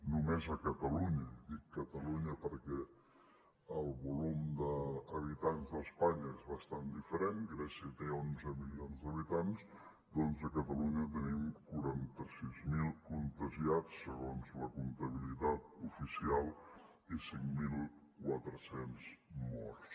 només a catalunya i dic catalunya perquè el volum d’habitants d’espanya és bastant diferent grècia té onze mi lions d’habitants doncs a catalunya tenim quaranta sis mil contagiats segons la comptabilitat oficial i cinc mil quatre cents morts